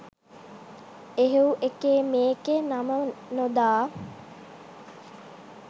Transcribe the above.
එහෙව් එකේ මේකේ නම නොදා